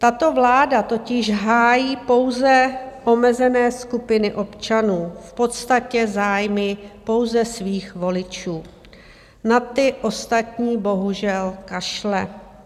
Tato vláda totiž hájí pouze omezené skupiny občanů, v podstatě zájmy pouze svých voličů, na ty ostatní bohužel kašle.